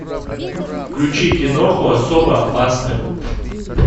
включи киноху особо опасны